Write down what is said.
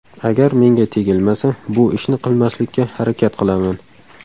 Agar menga tegilmasa, bu ishni qilmaslikka harakat qilaman.